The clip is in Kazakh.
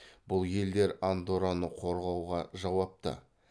бұл елдер андорраны қорғауға жауапты